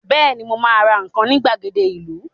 Bẹ́ẹ̀ni, mo ma ra nǹkan ní ìgbàgede ìlú